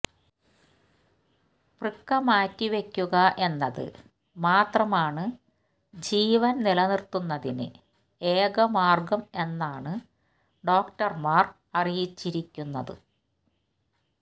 വൃക്ക മാറ്റിവെക്കുക എന്നത് മാത്രമാണ് ജീവന് നിലനിര്ത്തുന്നതിന്ന് ഏക മാര്ഗം എന്നാണ് ഡോക്ടര്മാര് അറിയിച്ചിരിക്കുന്നത്